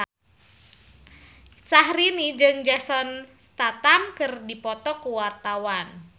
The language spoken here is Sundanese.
Syaharani jeung Jason Statham keur dipoto ku wartawan